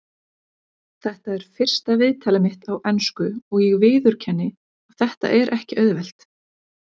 Þetta er fyrsta viðtalið mitt á ensku og ég viðurkenni að þetta er ekki auðvelt.